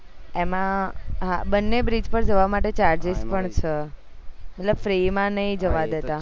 એમાં બંને bridge પર જવા માટે charges પણ છે મતલબ free માં નહિ જવા દેતા